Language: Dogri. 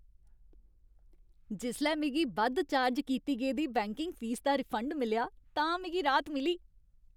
जिसलै मिगी बद्ध चार्ज कीती गेदी बैंकिंग फीस दा रिफंड मिलेआ तां मिगी राह्त मिली।